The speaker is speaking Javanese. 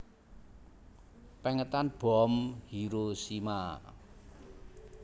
Pèngetan bom Hiroshima